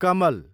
कमल